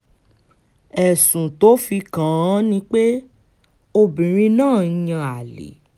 ẹ̀sùn tó fi kàn án ni pé obìnrin náà ń yan àlè